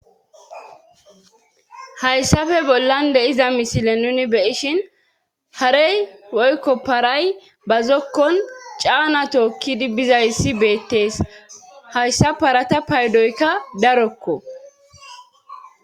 hayssafe bollan deiza misile nuni beyishin harey woykko paray ba zokkon caana tookkidi bizayssi beettees hayssa parata paydoykka darokko